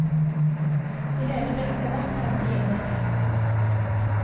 Det hele blir etterhvert temmelig innviklet.